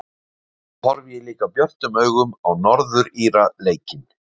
Svo horfi ég líka björtum augum á Norður Íra leikinn.